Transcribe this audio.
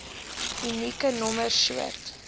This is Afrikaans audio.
unieke nommer soort